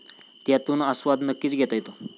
त्यातून आस्वाद नक्कीच घेता येतो!